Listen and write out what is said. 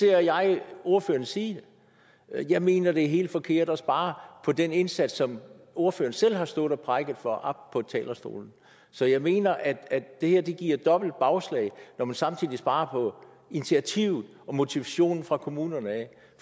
jeg at ordføreren siger det jeg mener det er helt forkert at spare på den indsats som ordføreren selv har stået og prædiket for oppe på talerstolen så jeg mener at det her giver dobbelt bagslag når man samtidig sparer på initiativet og motivationen for kommunerne